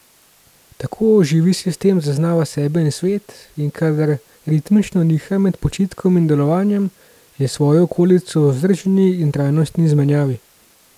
Tako živi sistem zaznava sebe in svet, in kadar ritmično niha med počitkom in delovanjem, je s svojo okolico v vzdržni in trajnostni izmenjavi.